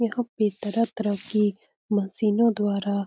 यहाँ पे तरह-तरह की मशीनओ द्वारा --